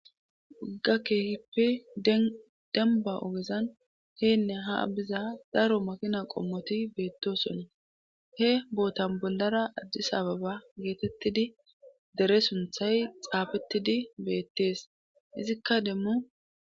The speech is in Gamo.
wagga keehippi demba ogezan heynne ha biza daro makina qommoti beettosona he bootan bollara ajji sababa geetettidi dere sunthay xaafettidi beettees izikka demmu